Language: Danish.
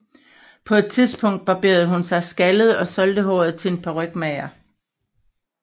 På et tidspunkt barberede hun sig skaldet og solgte håret til en parykmager